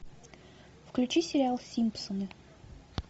включи сериал симпсоны